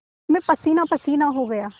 मैं पसीनापसीना हो गया